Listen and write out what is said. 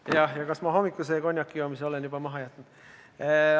Jah, ja kas ma hommikuse konjakijoomise olen juba maha jätnud?